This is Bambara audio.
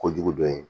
Kojugu dɔ ye